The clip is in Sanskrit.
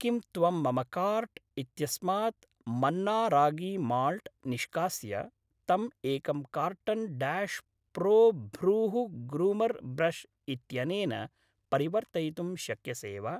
किं त्वं मम काार्ट् इत्यस्मात् मन्ना रागी माल्ट् निष्कास्य तं एकं carton dash pro brow groomer brush इत्यनेन परिवर्तयितुं शक्यसे वा?